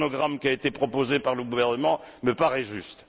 Le chronogramme qui a été proposé par le gouvernement me paraît juste.